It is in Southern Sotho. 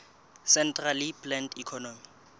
centrally planned economy